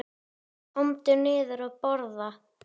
Komdu niður að borða.